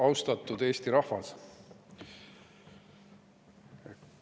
Austatud Eesti rahvas!